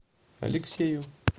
алексею